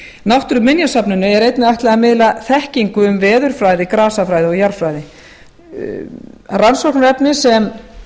náttúruminjasafninu er einnig ætlað að miðla þekkingu um veðurfræði grasafræði og jarðfræði rannsóknarefnin sem